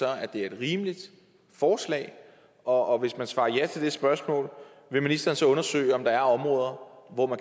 at det er et rimeligt forslag og hvis man svarer ja til det spørgsmål vil ministeren så undersøge om der er områder hvor